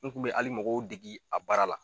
N kun be ali mɔgo dege a baara la